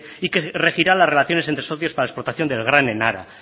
y que regirá las relaciones entre socios para explotación del gran enara